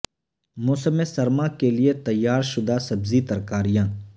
موسم سرما کے لئے تیار شدہ سبزی ترکاریاں